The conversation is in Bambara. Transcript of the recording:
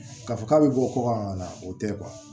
K'a fɔ k'a bɛ bɔ kɔkan na o tɛ